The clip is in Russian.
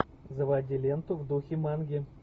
заводи ленту в духе манги